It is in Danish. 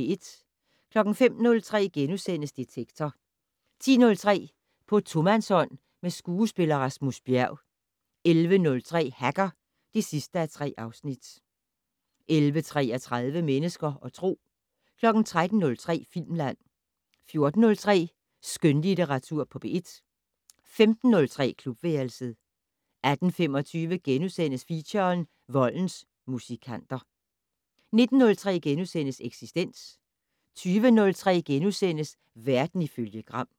05:03: Detektor * 10:03: På tomandshånd med skuespiller Rasmus Bjerg 11:03: Hacker (3:3) 11:33: Mennesker og Tro 13:03: Filmland 14:03: Skønlitteratur på P1 15:03: Klubværelset 18:25: Feature: Voldens musikanter * 19:03: Eksistens * 20:03: Verden ifølge Gram *